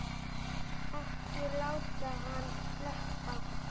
Ekki láta hann sleppa!